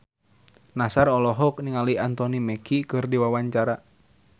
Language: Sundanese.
Nassar olohok ningali Anthony Mackie keur diwawancara